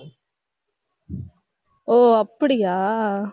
ஓ அப்படியா